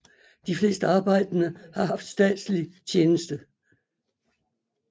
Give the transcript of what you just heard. De fleste arbejdende har haft statslig tjenste